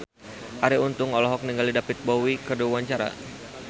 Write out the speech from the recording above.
Arie Untung olohok ningali David Bowie keur diwawancara